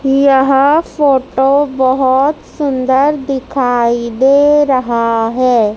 यह फोटो बहोत सुंदर दिखाई दे रहा है।